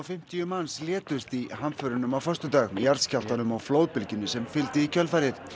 fimmtíu manns létust í hamförunum á föstudag jarðskjálftanum og flóðbylgjunni sem fylgdi í kjölfarið